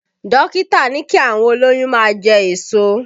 Dókítà ní kí àwọn olóyún máa jẹ èso